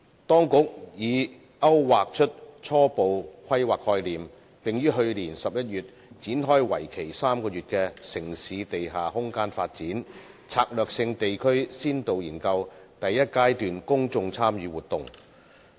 當局已勾劃出初步規劃概念，並於去年11月展開為期3個月的"城市地下空間發展：策略性地區先導研究"第一階段公眾參與活動。